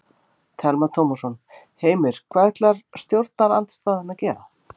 Telma Tómasson: Heimir hvað ætlar stjórnarandstaðan að gera?